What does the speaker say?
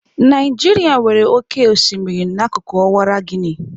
Naijiria nwere oke osimiri n'akụkụ Ọwara Guini.